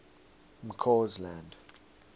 mccausland